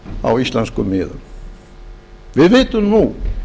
á íslenskum miðum við vitum nú